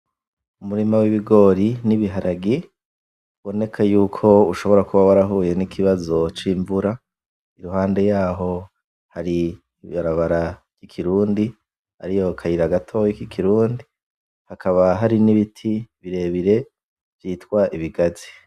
umurima w ibigori n' ibiharage uboneka nkuko ushobora kuba warahuye n' ikibazo c' imvura iruhande yaho hari ibarabara y ikirundi hakaba hari n' ibiti birebire vyitwa ibigazi.